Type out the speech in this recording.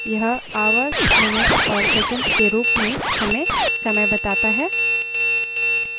यह hh: mm: ss के रूप में केवल हमें समय बताता है